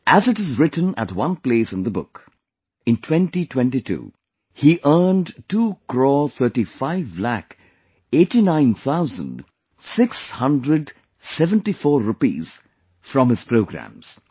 As it is written at one place in the book, in 2022, he earned two crore thirty five lakh eighty nine thousand six hundred seventy four rupees from his programs